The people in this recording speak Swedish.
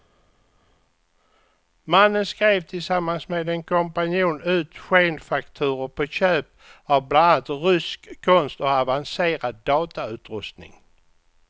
Mannen skrev tillsammans med en kompanjon ut skenfakturor på köp av bland annat rysk konst och avancerad datautrustning.